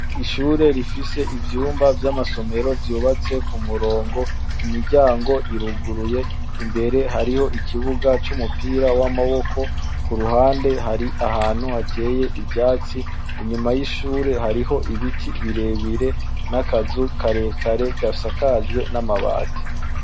Ishure rifise ivyumba vy'amasomero, bubatse ku murongo, imiryango iruguruye, imbere harih'ikibuga c'umupira w'amaboko, kuruhande har'ahantu hateye ivyatsi, inyuma y'ishure harih'ibiti birere n'akazu karekare gasajwe n'amabati.